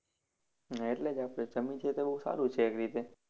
હા એટલે જ આપણે જમીન છે તો બહુ સારું છે એક રીતે.